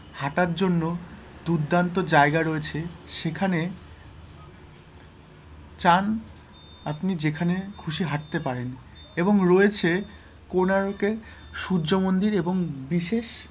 হাঁটার জন্য দুর্দান্ত জায়গায় রয়েছে সেখানে চান আপনি যেখানে খুশি হাঁটতে পারেন এবং রয়েছে কোনার্ক এ সূর্য মন্দির এবং বিশেষ,